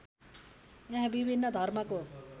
यहाँ विभिन्न धर्मको